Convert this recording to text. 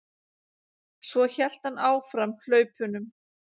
Svo hélt hann áfram hlaupunum.